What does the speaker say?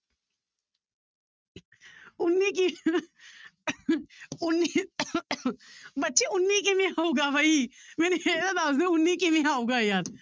ਉੱਨੀ ਕਿ~ ਉੱਨੀ ਬੱਚੇ ਉੱਨੀ ਕਿਵੇਂ ਆਊਗਾ ਬਾਈ ਮੈਨੂੰ ਇਹ ਤਾਂ ਦੱਸ ਦਓ ਉੱਨੀ ਕਿਵੇਂ ਆਊਗਾ ਯਾਰ।